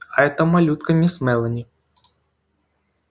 а эта малютка мисс мелани